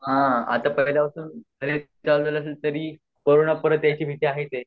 हा आता परत आलो तरी करोना परत यायची भीती आहेच